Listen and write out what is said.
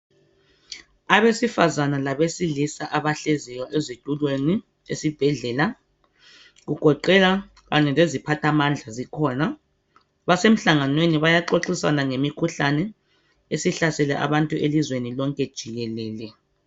Abesifazana labesilisa abahleziyo ezitulweni esibhedlela kugoqela kanye leziphathamandla zikhona basemhlanganweni bayaxoxisana ngemikhuhlane esihlasele abantu elizweni lonke jikelele .